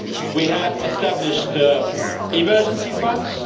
we have established emergency funds